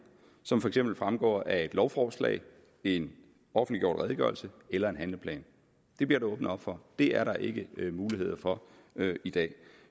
som for eksempel fremgår af et lovforslag en offentliggjort redegørelse eller en handleplan det bliver der åbnet op for det er der ikke mulighed for i dag